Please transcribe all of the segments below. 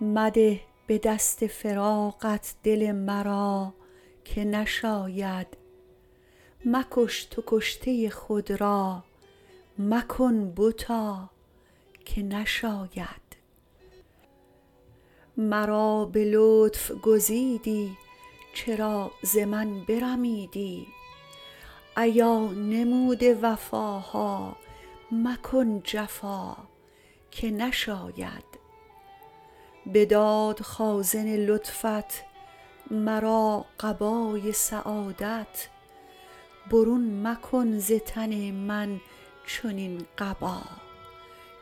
مده به دست فراقت دل مرا که نشاید مکش تو کشته خود را مکن بتا که نشاید مرا به لطف گزیدی چرا ز من برمیدی ایا نموده وفاها مکن جفا که نشاید بداد خازن لطفت مرا قبای سعادت برون مکن ز تن من چنین قبا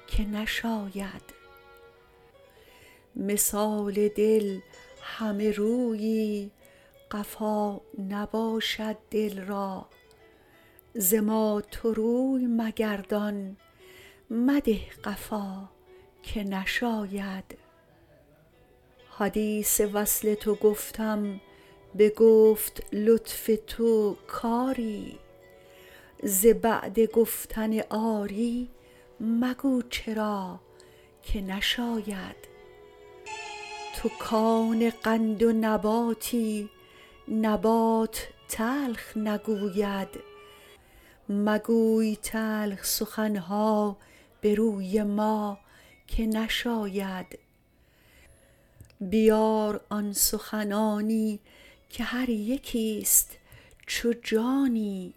که نشاید مثال دل همه رویی قفا نباشد دل را ز ما تو روی مگردان مده قفا که نشاید حدیث وصل تو گفتم بگفت لطف تو کری ز بعد گفتن آری مگو چرا که نشاید تو کان قند و نباتی نبات تلخ نگوید مگوی تلخ سخن ها به روی ما که نشاید بیار آن سخنانی که هر یکیست چو جانی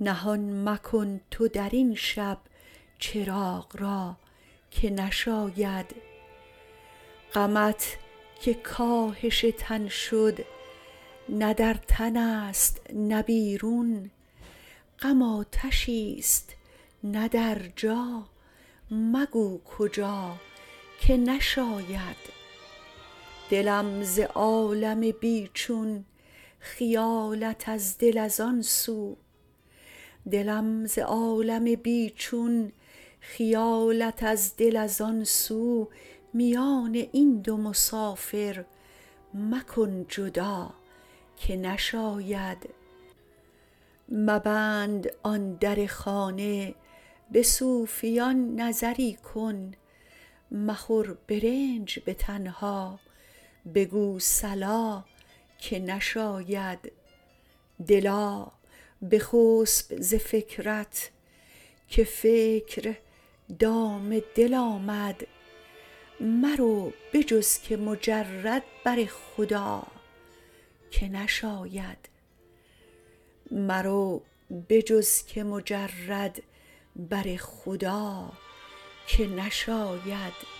نهان مکن تو در این شب چراغ را که نشاید غمت که کاهش تن شد نه در تنست نه بیرون غم آتشیست نه در جا مگو کجا که نشاید دلم ز عالم بی چون خیالت از دل از آن سو میان این دو مسافر مکن جدا که نشاید مبند آن در خانه به صوفیان نظری کن مخور به رنج به تنها بگو صلا که نشاید دلا بخسب ز فکرت که فکر دام دل آمد مرو به جز که مجرد بر خدا که نشاید